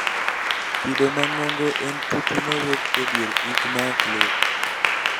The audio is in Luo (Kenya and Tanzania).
kido mang'ongo en tutu mawuok edier it maoklit